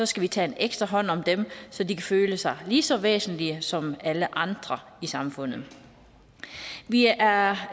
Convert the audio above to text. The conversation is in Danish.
skal vi tage ekstra hånd om dem så de kan føle sig lige så væsentlige som alle andre i samfundet vi er